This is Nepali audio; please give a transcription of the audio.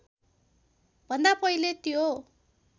भन्दा पहिले त्यो